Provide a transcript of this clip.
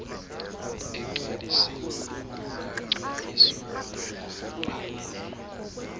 egcwalisiwe ukungagcwaliswa ngokugqibeleleyo